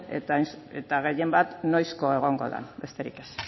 eta gehienbat noizko egongo dan besterik ez